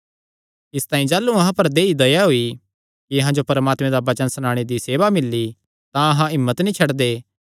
इसतांई जाह़लू अहां पर देहई दया होई कि अहां जो परमात्मे दा वचन सनाणे दी सेवा मिल्ली तां अहां हिम्मत नीं छड्डदे